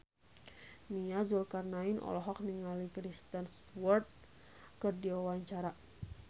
Nia Zulkarnaen olohok ningali Kristen Stewart keur diwawancara